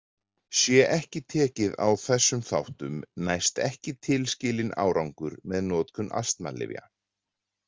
Sé ekki tekið á þessum þáttum næst ekki tilskilinn árangur með notkun astmalyfjanna.